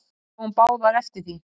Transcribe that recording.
Við sáum báðir eftir því.